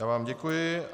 Já vám děkuji.